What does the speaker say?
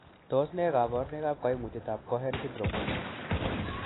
Tos nee koborunoikab koimutietab Cohen syndrome?